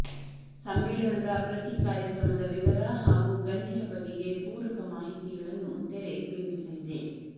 ಸಮ್ಮೇಳನದ ಪ್ರತಿ ಕಾರ್ಯಕ್ರಮದ ವಿವರ ಹಾಗೂ ಗಣ್ಯರ ಬಗೆಗೆ ಪೂರಕ ಮಾಹಿತಿಗಳನ್ನು ತೆರೆ ಬಿಂಬಿಸಲಿದೆ